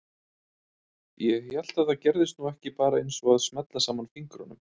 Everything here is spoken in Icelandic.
Ég hélt að það gerðist nú ekki bara eins og að smella saman fingrunum.